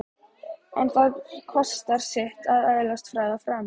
En það kostar sitt að öðlast frægð og frama.